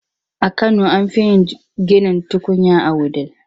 A kano an fi yin ginin tukunya a Wudil.